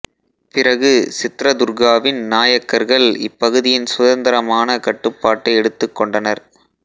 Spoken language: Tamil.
பிறகு சித்ரதுர்காவின் நாயக்கர்கள் இப்பகுதியின் சுதந்திரமான கட்டுப்பாட்டை எடுத்துக் கொண்டனர்